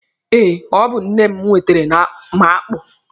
Eh, ọ bụ nne m wetere m akpụ.